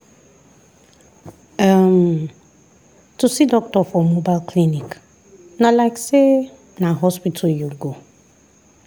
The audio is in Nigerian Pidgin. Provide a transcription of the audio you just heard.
um to see doctor for mobile clinic na like say na hospital you go.